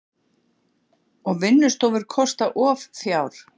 Og vinnustofur kosta of fjár.